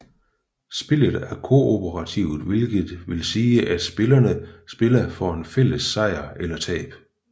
Spillet er kooperativt hvilket vil sige at spillerne spiller for en fælles sejr eller tab